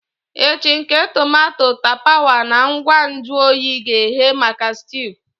Echi nke tomato tapawa na ngwa nju oyi ga-eghe maka stew.